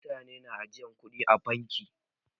Mutane na ajiyan kuɗi a bankuna.